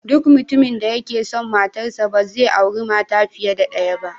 Duk mutumin da yake son matarsa, ba zai auri mata fiye da daya ba.